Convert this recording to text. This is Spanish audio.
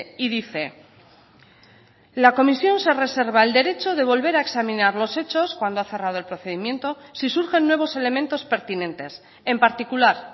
y dice la comisión se reserva el derecho de volver a examinar los hechos cuando ha cerrado el procedimiento si surgen nuevos elementos pertinentes en particular